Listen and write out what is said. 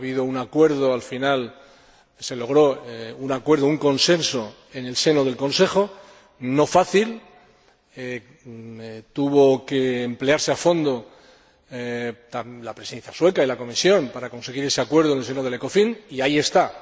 Ha habido un acuerdo, al final se logró un acuerdo, un consenso en el seno del Consejo, no fácil, tuvieron que emplearse a fondo la Presidencia sueca y la Comisión para conseguir ese acuerdo en el seno del Ecofin y ahí está.